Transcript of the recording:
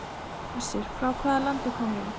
Hersir: Frá hvaða landi komið þið?